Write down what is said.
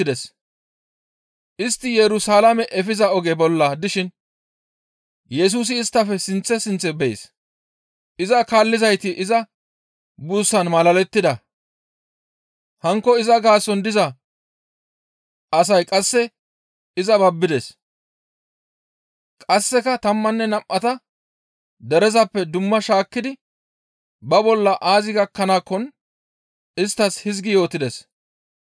Istti Yerusalaame efiza oge bolla dishin Yesusi isttafe sinththe sinththe bees. Iza kaallizayti iza buussaan malalettida. Hankko iza gaason diza asay qasse izas babbides; qasseka tammanne nam7ata derezappe dumma shaakkidi ba bolla aazi gakkanaakkon isttas hizgi yootides;